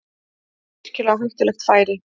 Virkilega hættulegt færi